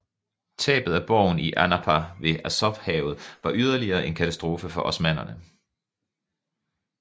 Tabet af borgen i Anapa ved Azovhavet var yderligere en katastrofe for osmannerne